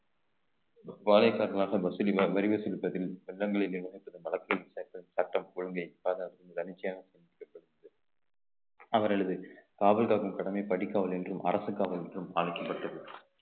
வாழைக் காற்றாக cinema வரி செலுத்துவதில் வெள்ளங்களிலே சட்டம் கொள்கை அவர்களது காவல் காக்கும் கடமை படிக்காவல் என்றும் அரசு காவல் என்றும் அழைக்கப்பட்டது